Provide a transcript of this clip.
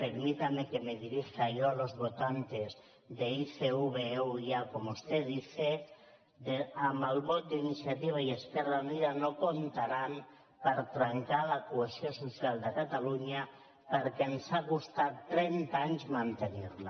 permítame que me dirija yo a los votantes de icv euia como usted dice amb el vot d’iniciativa i esquerra unida no hi comptaran per trencar la cohesió social de catalunya perquè ens ha costat trenta anys mantenirla